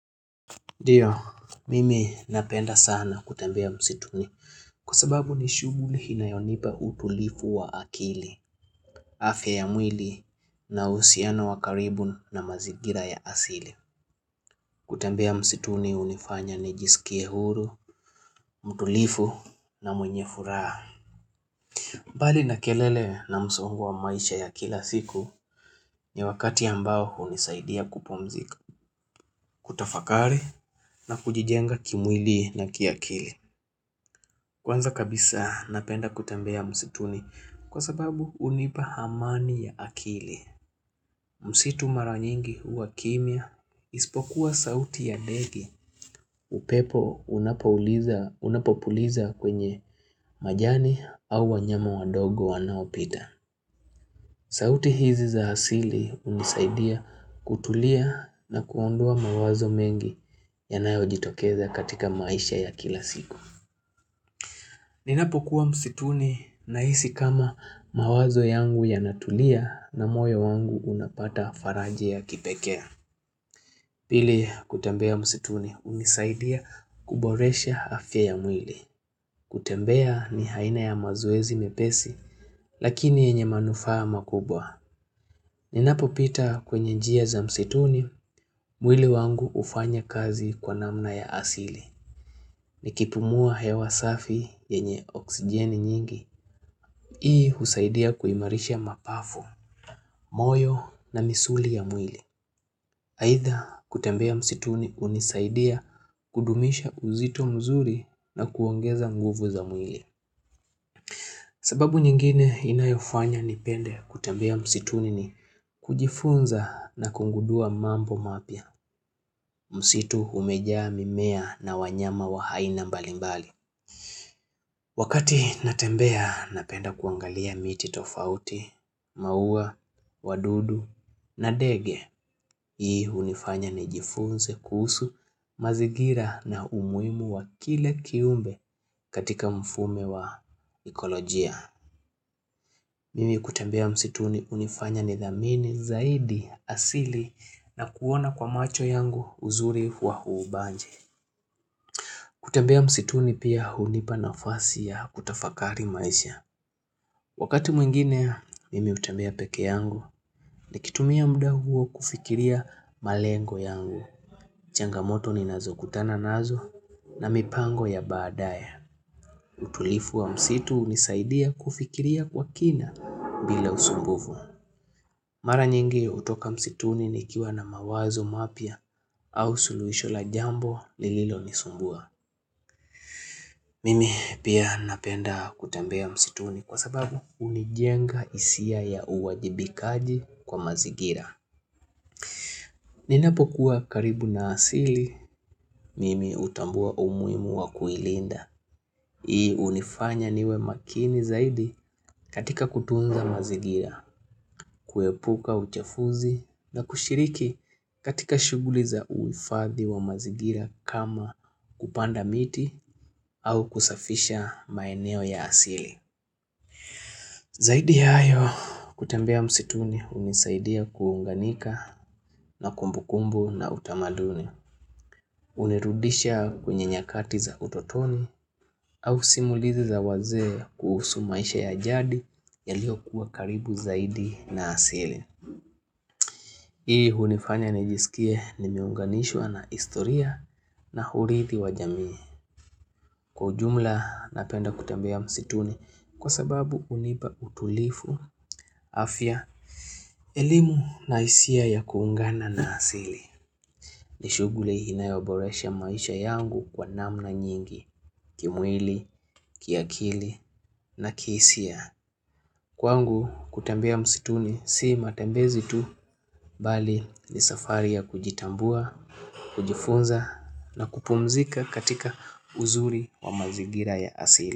Ndio, mimi napenda sana kutembea msituni Kwasababu ni shuguli inayonipa utulivu wa akili afya ya mwili na uhusiano wa karibu na mazingira ya asili kutembea msituni hunifanya nijisikie huru, mtulivu na mwenye furaha mbali na kelele na msongwa wa maisha ya kila siku ni wakati ambao hunisaidia kupumzika kutafakari na kujijenga kimwili na kiakili Kwanza kabisa napenda kutembea msituni kwa sababu hunipa amani ya akili. Msitu mara nyingi huwa kimya ispokuwa sauti ya ndege. Upepo unapopuliza kwenye majani au wanyama wadogo wanaopita. Sauti hizi za hasili hunisaidia kutulia na kuondoa mawazo mengi yanayo jitokeza katika maisha ya kila siku. Ninapo kuwa msituni nahisi kama mawazo yangu yanatulia na moyo wangu unapata faraja ya kipekee Pili kutembea msituni hunisaidia kuboresha afya ya mwili. Kutembea ni aina ya mazoezi mepesi lakini yenye manufaa makubwa. Ninapo pita kwenye njia za msituni mwili wangu hufanya kazi kwa namna ya asili. Ni kipumua hewa safi yenye oksijeni nyingi Hii husaidia kuimarisha mapafu, moyo na misuli ya mwili Haitha kutembea msituni hunisaidia kudumisha uzito mzuri na kuongeza nguvu za mwili sababu nyingine inayofanya nipende kutembea msituni ni kujifunza na kugundua mambo mapya Msitu umeja mimea na wanyama wa aina mbalimbali Wakati natembea napenda kuangalia miti tofauti, maua, wadudu na ndege, hii unifanya ni jifunze kuhusu, mazingira na umuhimu wa kila kiumbe katika mfume wa ekolojia. Mimi kutembea msituni unifanya ni dhamini, zaidi, asili na kuona kwa macho yangu uzuri wa uubanji. Kutembea msituni pia hunipa nafasi ya kutafakari maisha. Wakati mwingine, mimi hutembea peke yangu ni kitumia mda huo kufikiria malengo yangu. Changamoto ni nazo kutana nazo na mipango ya badaya. Utulivu wa msitu hunisaidia kufikiria kwa kina bila usumbufu. Mara nyingi hutoka msituni nikiwa na mawazo mapya au suluhisho la jambo lililo nisumbua. Mimi pia napenda kutembea msituni kwa sababu unijenga hisia ya uwajibikaji kwa mazingira Ninapo kuwa karibu na asili, mimi hutambua umuhimu wa kuilinda hii hunifanya niwe makini zaidi katika kutunza mazigira kuepuka uchafuzi na kushiriki katika shuguli za uhifadhi wa mazigira kama kupanda miti au kusafisha maeneo ya asili Zaidi hayo kutembea msituni hunisaidia kuunganika na kumbu kumbu na utamaduni, unirudisha kwenye nyakati za utotoni au simulizi za waze kuhusu maisha ya jadi yaliyo kuwa karibu zaidi na asili. Hii hunifanya nijisikie nimeunganishwa na historia na urithi wa jamii. Kwa ujumla napenda kutembea msituni kwa sababu hunipa utulivu, afya, elimu na hisia ya kuungana na asili. Ni shuguli inayoboresha maisha yangu kwa namna nyingi, kimwili, kiakili na kisia. Kwangu kutembea msituni si matembezi tu bali ni safari ya kujitambua, kujifunza na kupumzika katika uzuri wa mazigira ya asili.